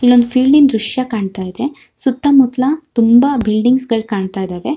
ಇಲ್ಲೊಂದು ಫೀಲ್ಡ್ ದೃಶ್ಯ ಕಾಣತ್ತಾ ಇದೆ ಸುತ್ತಮುತ್ತಲಾ ತುಂಬಾ ಬಿಲ್ಡಿಂಗ್ಸ್ ಗಳು ಕಾಣ್ತ್ತಾಇದಾವೆ.